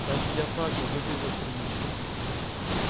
даже диафрагмы выглядят прилично